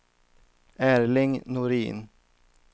Erling Norin